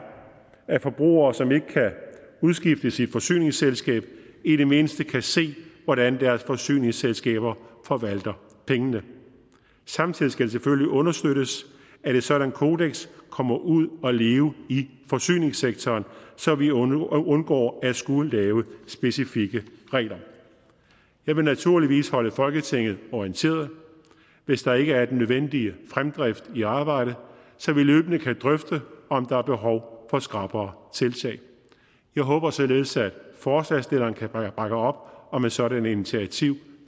at forbrugere som ikke kan udskiftes i et forsyningsselskab i det mindste kan se hvordan deres forsyningsselskaber forvalter pengene samtidig skal det selvfølgelig understøttes at et sådant kodeks kommer ud at leve i forsyningssektoren så vi undgår undgår at skulle lave specifikke regler jeg vil naturligvis holde folketinget orienteret hvis der ikke er den nødvendige fremdrift i arbejdet så vi løbende kan drøfte om der er behov for skrappere tiltag jeg håber således at forslagsstillerne kan bakke op om et sådant initiativ